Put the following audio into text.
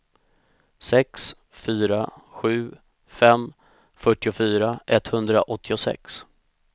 sex fyra sju fem fyrtiofyra etthundraåttiosex